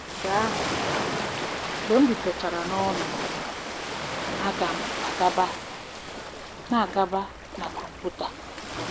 Mgbe ahụ, mgbe m rutechara n'ụlọ, a ga m a-agaba na a-agaba na kọmputa.